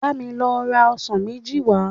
Bá mi lọ ra ọsàn méjì wá